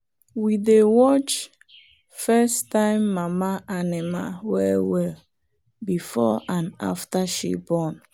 we dey watch first-time mama animal well well before and after she born.